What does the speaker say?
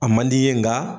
A man di i ye nka